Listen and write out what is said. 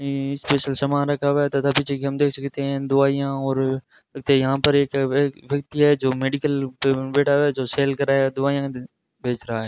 यें स्पेशल समान रखा हुआ है तथा पीछे की हम देख सकते है कि दवाईयां और इत्ते यहां पर एक जो व्यक व्यक्ति है जो मेडिकल टेबल में बैठा हुआ है जो सेल कर रहा है जो दवाईयां बेच रहा है।